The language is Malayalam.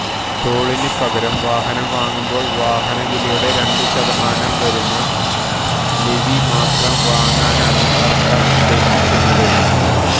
ടോളിനു പകരം വാഹനം വാങ്ങുമ്പോള് വാഹനവിലയുടെ രണ്ടു ശതമാനം വരുന്ന ലെവി മാത്രം വാങ്ങാനാണ് സര്ക്കാര് ഉദ്ദേശിക്കുന്നത്